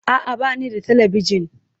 A'a, ba ni da Talabijin.